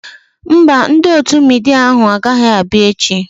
Mba, ndị otu midia ahu agaghị abịa echi